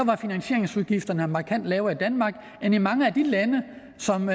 var finansieringsudgifterne markant lavere i danmark end i mange af de lande som